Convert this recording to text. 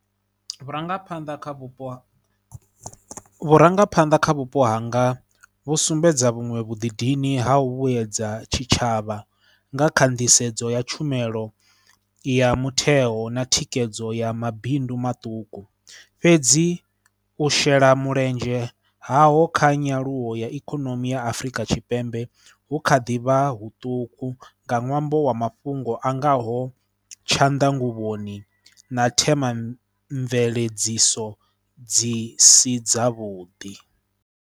Vhurangaphanḓa kha vhupo, vhurangaphanḓa kha vhupo hanga vhu sumbedza vhuṅwe vhudindini ha u vhuedza tshitshavha nga kha nḓisedzo ya tshumelo ya mutheo na thikedzo ya mabindu maṱuku, fhedzi u shela mulenzhe haho kha nyaluwo ya ikonomi ya Afrika Tshipembe hu kha ḓi vha huṱuku nga ṅwambo wa mafhungo a ngaho tshanḓanguvhoni na themba mveledziso dzi si dzavhuḓi.